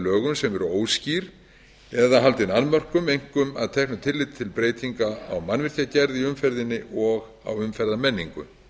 ákvæðum sem eru óskýr eða haldin annmörkum einkum að teknu tilliti til breytinga á mannvirkjagerð í umferðinni og á umferðarmenningu